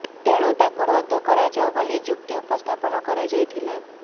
ତେଣୁ ତାକୁ ରଦ୍ଦ କରାଯାଉ ବୋଲି ଯୁକ୍ତି ଉପସ୍ଥାପନ କରାଯାଇଥିଲା